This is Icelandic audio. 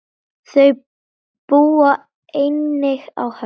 Þau búa einnig á Höfn.